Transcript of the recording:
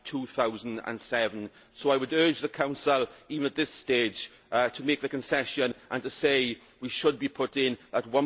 2007. So I would urge the Council, even at this stage, to make the concession and to say we should be putting that